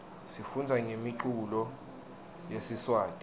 sifundza ngemiculo yesiswati